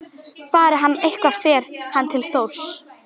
Fari hann eitthvað fer hann til Þórs.